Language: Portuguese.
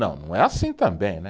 Não, não é assim também né.